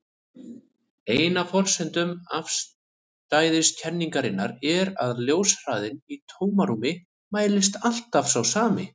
Ein af forsendum afstæðiskenningarinnar er að ljóshraðinn í tómarúmi mælist alltaf sá sami.